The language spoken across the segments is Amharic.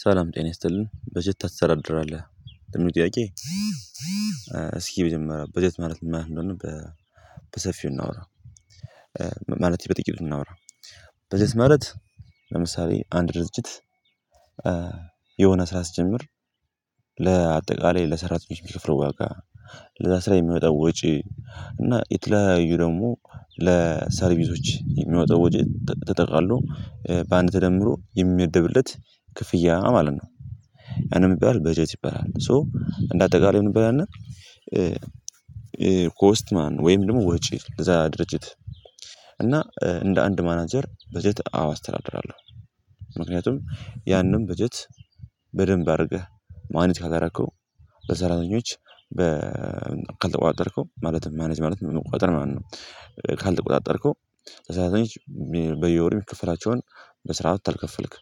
ሰላም ጤና ይስጥልኝ በጀት ታስተዳድራለህ? ለሚለው ጥያቄ? እስኪ መጀመሪያ በጀት ማለት ነው ብለን በሰፊው እናውራ። ማለት በጥቂቱ እናውራ። በጀት ማለት ለምሳሌ አንድ ድርጅት። የሆነ ስራ ስትጀምር ለአጠቃላይ ለሰራተኞች የሚከፍለው ዋጋ ለስራ የሚወጣው ወጪ እና የተለያዩ ደግሞ ለሰርቪሶች የሚወጣው ወጭ ተጠቃሎ በአንድ ተደምሮ የሚመደብለት ክፍያ ማለት ነው። እና ምን ይባላል በጀት ይባላል። ሶ እንደ አጠቃላይ ምን ይባላል እና? ኮስት ማን ወይም ደግሞ ወጪ ለዛ ድርጅት። እና እንደ አንድ ማናጀር በጀት አዎ አስተዳድራለሁ። ምክንያቱም ያንን በጀት በደንብ አድርገህ ማኔጅ ካላረከው። በሰራተኞች በ ካልተቆጣጠርከው ማለትም ማኔጅ ማለትም መቆጣጠር ማለት ነው። ካልተቆጣጠርከው ለሰራተኞቾ በየወር የሚከፈላቸውን በስራአቱ ታልከፈልክ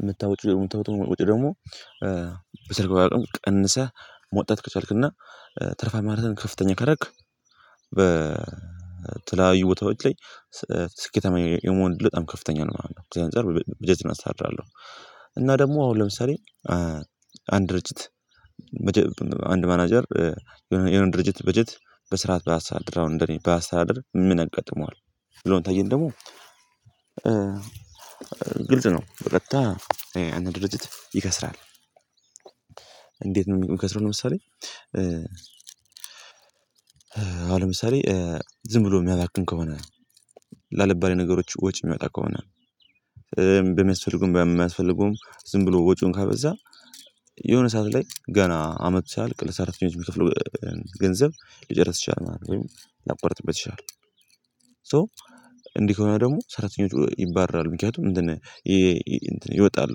የምታወጪው ምታወጣውን ወጭ ደግሞ ደግሞ በሰርግ ብታወጣውም ቀንሰህ ማውጣት ከቻልክና ትርፋማነትህን ከፍተኛ ካረክ። በተለያዩ ቦታዎች ላይ ስኬታማ የመሆን እድልህ ለጣም ከፍተኛ ነው ማለት ነው። እዚህ አንፃር በጀት አስተሳድራለሁ። እና ደግሞ አሁን ለምሳሌ። አንድ ድርጅት በጀ ብ አንድ ማናጀር የሆነ የሆነ ድርጅት በጀት በስርዓት ባያስተዳደር አሁን እንደኔ ባያስተዳደር ምን ያጋጥመዋል? ሚለው ታየን ደግሞ። ግልጽ ነው በቀጥታ ያነ ድርጅት ይከስራል። እንዴት ነው የሚከስረው? ለምሳሌ። አሁን ለምሳሌ ዝም ብሎ ሚያባክን ከሆነ ላልባሌ ነገሮች ወጪ የሚወጣ ከሆነ። በሚያስፈልገውም በማያስፈልገውም ዝም ብሎ ወጪውን ካበዛ። የሆነ ሰዓት ላይ ገና አመት ሳያልቅ ለሰራተኞች የሚከፍለው ገንዘብ ሊጨርስ ይችላል ማለት ነው። ሊያቋርጥበት ይችላል። ሶ እንዲህ ከሆነ ደግሞ ሰራተኞቹ ይባረራሉ። ምክንያቱም እንትን እንትን ይወጣሉ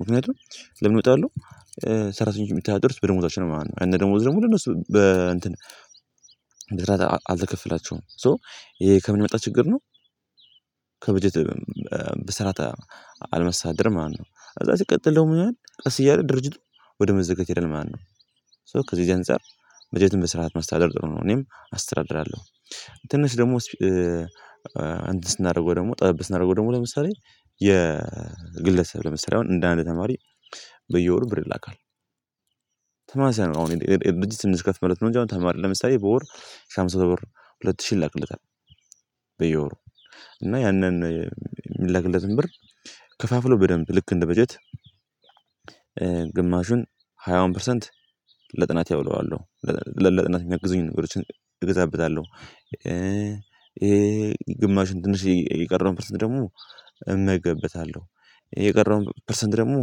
ምክንያቱም ለምን ይወጣሉ? ሰራተኞቹ ሚተዳደሩት በደሞዛቸው ነው ማለት ነው። ያነ ደሞዝ ደግሞ ለነሱ በእንትን በስርዓት አልተከፈላቸውም። ሶ ይሄ ከምን የመጣ ችግር ነው? ከበጀት በስርዓት አልማስተዳደርም ማለት ነው። ከዛ ሲቀጥል ደግሞ ምን ይሆናል ቀስ እያለ ድርጅቱ ወደ መዘጋት ይሄዳል። ማነው? ሶ ከዚህ ከዚህ አንፃር በጀትን በስርዓት መስተዳደር ጥሩ ነው እኔም አስተዳድራለሁ። ትንሽ ደግሞ እንትን ስናደርገው ደግሞ ጠብ ስናደርገው ደግሞ ለምሳሌ የግለሰብ ለምሳሌ አሁን እንደ አንድ ተማሪ በየወሩ ብር ይላካል። ተመሳሳይነ ው አሁን የድርጅት ትንሽ ከፍ ማለት ነው እንጅ አሁን ተማሪ ለምሳሌ በወር ሺህ አምስት መቶ ብር ሁለት ሺህ ይላክለታል። በየወሩ እና ያንን የሚላክለትን ብር ከፋፍሎ በደንብ ልክ እንደ በጀት ግማሹን ሃያውን ፐርሰንት ለጥናቴ አውለዋለሁ ለጥናት የሚያግዙኝ ነገሮችን እገዛበታለሁ። ይሄ ግማሹን ትንሽ የቀረውን ፐርሰንት ደግሞ እመገብበታለሁ። የቀረውን ፐርሰንት ደግሞ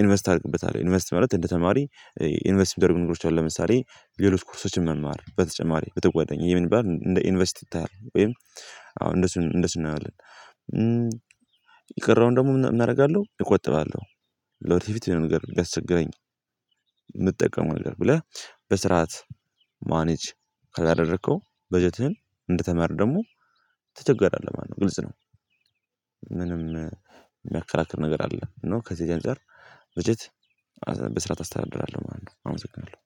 ኢንቨስት አደርግበታለው። ኢንቨስት ማለት እንደ ተማሪ ኢንቨስት ሚደረጉ ነገሮች አሉ ለምሳሌ ሌሎች ኮርሶችን መማር በተጨማሪ በተጓዳኝ ይሄ ምን ይባላል እንደ ኢንቨስት ይታያል ወይም አሁን እንደሱ እንደሱ እናየዋለን። የቀረውን ደግሞ ምን አደርጋለሁ እቆጥባለሁ። ለወደስተፊት የሆነ ነገር ቢያስቸግረኝ። የምጠቀመው ነገር ብለህ በስርዓት ማኔጅ ካላደረከው በጀትህን እንደተማሪ ደግሞ ትቸገራለህ ማለት ነው ግልጽ ነው። ምንም የሚያከራክር ነገር አለ። እና ከዚህ ከዚህ አንፃር በጀት በስርዓት አስተዳድራለሁ ማለት ነው። አመሰግናለሁ